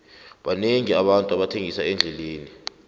banengi abantu abathengisa endleleni